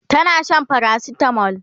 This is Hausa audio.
tana Shan paracetamol